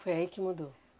Foi aí que mudou?